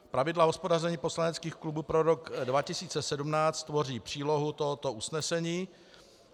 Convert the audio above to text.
Pravidla hospodaření poslaneckých klubů pro rok 2017 tvoří přílohu tohoto usnesení.